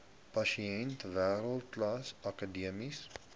pasiënte wêreldklas akademiese